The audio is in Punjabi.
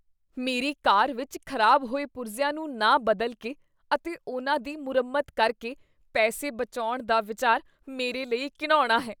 ਮੇਰੀ ਕਾਰ ਵਿਚ ਖ਼ਰਾਬ ਹੋਏ ਪੁਰਜ਼ਿਆਂ ਨੂੰ ਨਾ ਬਦਲ ਕੇ ਅਤੇ ਉਹਨਾਂ ਦੀ ਮੁਰੰਮਤ ਕਰਕੇ ਪੈਸੇ ਬਚਾਉਣ ਦਾ ਵਿਚਾਰ ਮੇਰੇ ਲਈ ਘਿਣਾਉਣਾ ਹੈ।